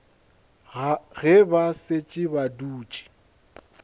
ge ba šetše ba dutše